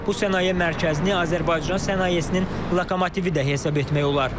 Bu sənaye mərkəzini Azərbaycan sənayesinin lokomotivi də hesab etmək olar.